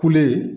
Kule